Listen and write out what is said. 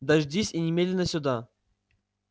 дождись и немедленно сюда